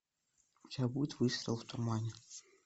у тебя будет выстрел в тумане